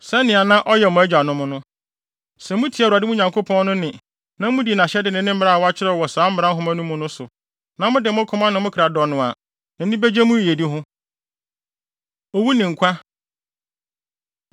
Sɛ mutie Awurade, mo Nyankopɔn no, nne, na mudi nʼahyɛde ne ne mmara a wɔakyerɛw wɔ saa Mmara Nhoma no mu no so, na mode mo koma ne mo kra dɔ no a, nʼani begye mo yiyedi ho. Owu Ne Nkwa